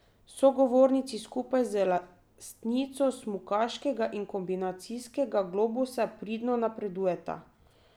Sogovornici skupaj z lastnico smukaškega in kombinacijskega globusa pridno napredujeta.